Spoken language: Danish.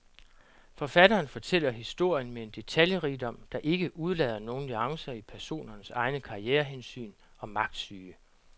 Forfatteren fortæller historien med en detaljerigdom, der ikke udelader nogen nuancer i personernes egne karrierehensyn og magtsyge.